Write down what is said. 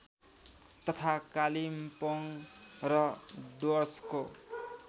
तथा कालिम्पोङ र डुअर्सको